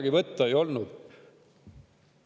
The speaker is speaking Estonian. Kas tõesti kedagi võtta ei olnud?